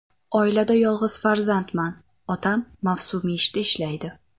Oilada yolg‘iz farzandman, otam mavsumiy ishda ishlaydi.